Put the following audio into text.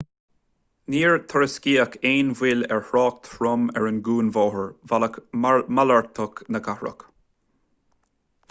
níor tuairiscíodh aon mhoill ar thrácht trom ar an gcuarbhóthar bealach malartach na cathrach